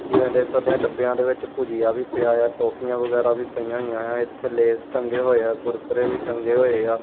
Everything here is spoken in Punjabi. ਦੇਖ ਸਕਦੇ ਆ ਡੱਬਿਆਂ ਦੇ ਵਿੱਚ ਭੁਜੀਆ ਵੀ ਪਿਆ ਆ ਟੋਫੀਆਂ ਵਗੈਰਾ ਵੀ ਪਈਆਂ ਹੋਈਆਂ ਆ ਇਥੇ ਲੇਸ ਟੰਗੇ ਹੋਏ ਆ ਕੁਰਕਰੇ ਵੀ ਟੰਗੇ ਹੋਏ ਆ।